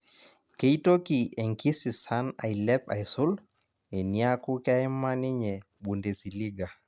Keitoki enkisisan ailep aisul eniaku keima ninye Bundesiliga